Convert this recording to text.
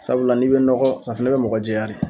Sabula n'i bɛ nɔgɔ safinɛ bɛ mɔgɔ jɛya de.